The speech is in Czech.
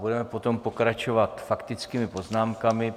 Budeme potom pokračovat faktickými poznámkami.